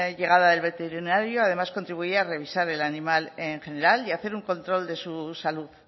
llegada del veterinario además contribuía a revisar el animal en general y hacer un control de su salud